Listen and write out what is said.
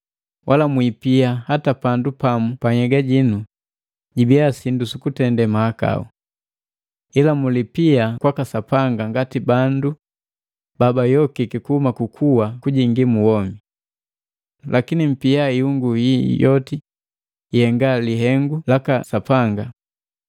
Wala mwiipia hata pandu pamu pa nhyega ji ibia sindu sukutende mahakau. Ila mulipia kwaka Sapanga ngati bandu babayokiki kuhuma kukuwa kujingi mu womi. Lakini mpia ihungu yi yoti ihenga lihengu laka Sapanga.